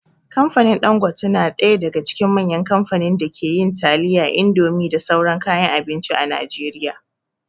Kamfanin Ɗangote na daga cikin manyan kamfanin da ke yin taliya, indomie da sauran kayan abinci a Najeriya.